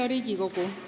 Hea Riigikogu!